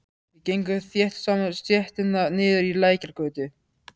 Við gengum þétt saman stéttina niður í Lækjargötu.